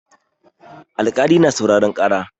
Alkali na sauraren ƙara.